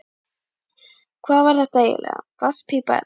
Hvað var þetta eiginlega, vatnspípa eða eitthvað?